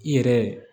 I yɛrɛ